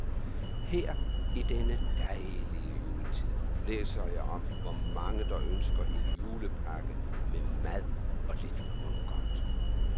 Her i denne dejlige juletid, læser jeg om, hvor mange, der ønsker en julepakke med mad og lidt mundgodt.